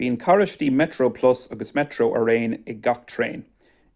bíonn carráistí metroplus agus metro araon ag gach traein